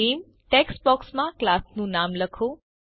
નામે ટેક્સ્ટ બોક્સમાં ક્લાસનું નામ લખો